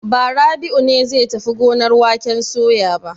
Ba, Rabi'u ne zai tafi gonar waken soya ba.